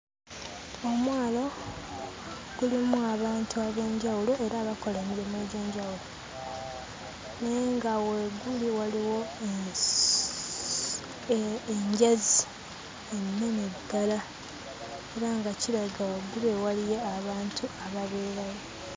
Omwalo gulimu abantu ab'enjawulo era abakola emirimu egy'enjawulo, naye nga we guli waliwo enjazi ennene ddala era nga kirabika waggulu eyo waliyo abantu ababeerayo.